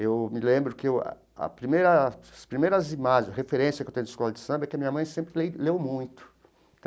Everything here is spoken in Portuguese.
Eu me lembro que ah a primeira as primeiras imagens, referência que eu tenho de escola de samba é que a minha mãe sempre leu muito.